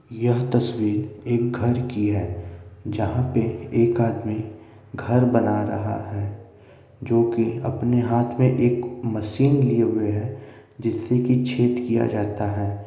यह तस्वीर एक घर की है जहां पे एक आदमी घर बना रहा है जो कि अपने हाथ में एक मशीन लिए हुए हैं जिससे की छेद किया जाता है।